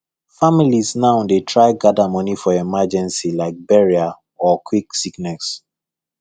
families now dey try gather money for emergency like burial or quick sickness